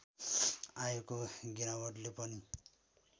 आएको गिरावटले पनि